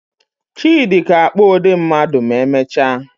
Chidi ga-akpụ ụdị mmadụ ma emechaa.